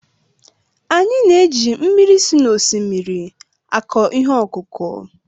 Anyị na-eji mmiri si n'osimiri akọ ihe ọkụkụ